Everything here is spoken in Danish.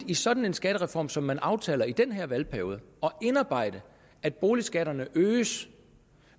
i sådan en skattereform som man aftaler i den her valgperiode indarbejder at boligskatterne øges